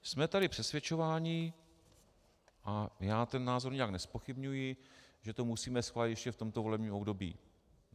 Jsme tady přesvědčování, a já ten názor nijak nezpochybňuji, že to musíme schválit ještě v tomto volebním období.